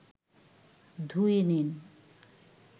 ধুয়ে নিন